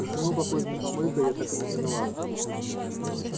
почему у папульки с мамулькой я так и не поняла